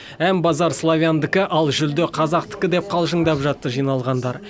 ән базары славяндікі ал жүлде қазақтікі деп қалжындап жатты жиналғандар